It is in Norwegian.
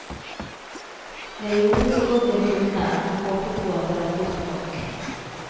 Jeg gjorde så godt jeg kunne, og håpet på at det var godt nok.